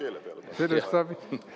Selle saab keele peale panna.